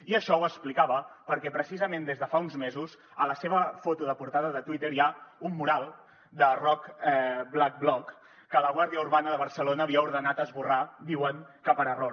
i això ho explicava perquè precisament des de fa uns mesos a la seva foto de portada de twitter hi ha un mural de roc blackblock que la guàrdia urbana de barcelona havia ordenat esborrar diuen que per error